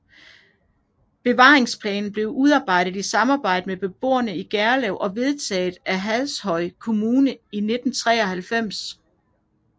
Bevaringsplanen blev udarbejdet i samarbejde med beboerne i Gerlev og vedtaget af Hashøj Kommune i 1993